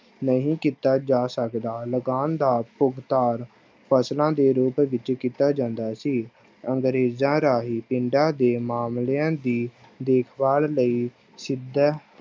ਨਹੀਂ ਕੀਤਾ ਜਾ ਸਕਦਾ ਲਗਾਨ ਦਾ ਭੁਗਤਾਨ ਫਸਲਾਂ ਦੇ ਰੂਪ ਵਿੱਚ ਕੀਤਾ ਜਾਂਦਾ ਸੀ, ਅੰਗਰੇਜ਼ਾਂ ਰਾਹੀਂ ਪਿੰਡਾਂ ਦੇ ਮਾਮਲਿਆਂ ਦੀ ਦੇਖਭਾਲ ਲਈ ਸਿੱਧਾ